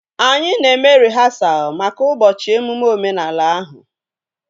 Anyị na-eme rịhasal maka ụbọchị emume omenala ahụ